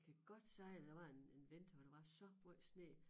Jeg kan godt sige dig der var en vinter hvor der var så måj sne